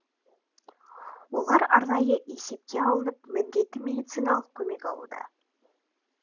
олар арнайы есепке алынып міндетті медициналық көмек алуда